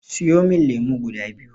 Siyo min lemo guda biyu.